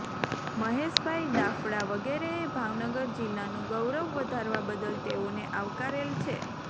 મહેશભાઇ દાફડા વગેરે એ ભાવનગર જિલ્લાનું ગૌરવ વધારવા બદલ તેઓને આવકારેલ છે